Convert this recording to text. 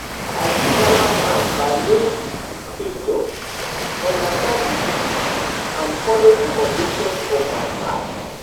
I fit balance am by knowing di scripture, understand di teachings and follow di convictions of my heart.